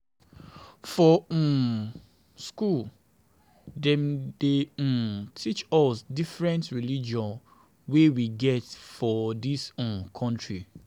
For um skool, dem dey um teach us about different religion wey we get for dis um country.